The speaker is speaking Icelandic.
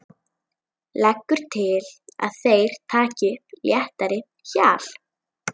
Leggur til að þeir taki upp léttara hjal.